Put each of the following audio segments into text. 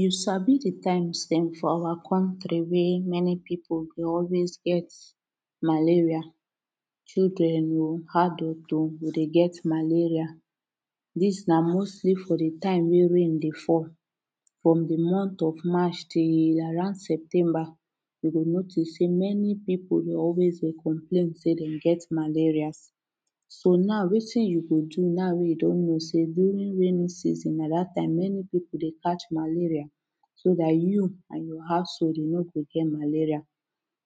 You Sabi de times dem for our country wey many people dey always get malaria children oo adult oo go dey get malaria dis na mostly for de time wey rain dey fall from the month of march till around September we go notice say many people dey always complain say dem get malarias so now wetin you go do now wey you don know say during rainy season na tha time many people dey catch malaria so that you and your household you no go get malaria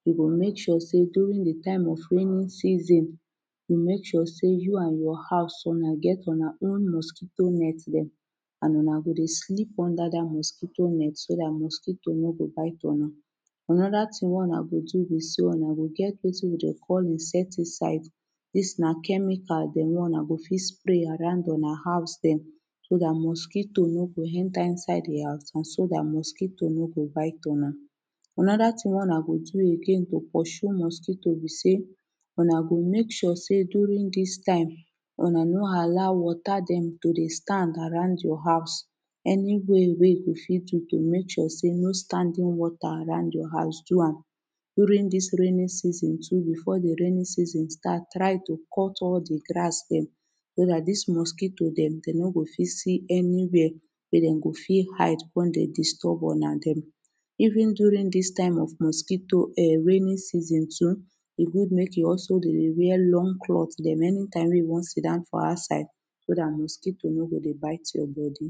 you go make sure say during the time of raining season you make sure say you and your house Una get Una own mosquito net dem and Una go dey sleep under dat mosquito net so dat mosquito no go bite Una. Anoda thing wey Una go do be say Una go get wetin we dey call insecticide dis na chemical dem wey Una go fit spray around dema house dem so dat mosquito no go enter inside de house and so dat mosquito no go bite Una. Anoda tin wey Una go do again to pursue mosquito be say Una go make sure say during dis time Una no allow wata dem to dey stand around your house any way wey you go fit do to make sure say no standing wata around your house do am during dis rainy season too before de rainy season starts try to cut all the grass dem dat dis mosquito dem dem no go fit see any where wey dem go fit hide come dey disturb Una dem. Even during dis time of mosquito um raining season too e good make you also dey wear long clothe dem anytime wey you wan sit-down for outside so that mosquito no go dey bite your body